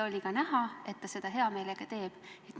Oli ka näha, et ta seda hea meelega teeb.